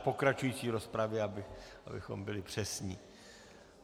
V pokračující rozpravě, abychom byli přesní.